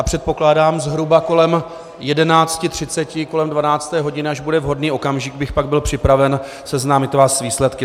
A předpokládám zhruba kolem 11.30, kolem 12. hodiny, až bude vhodný okamžik, bych pak byl připraven seznámit vás s výsledky.